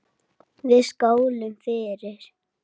Við skálum fyrir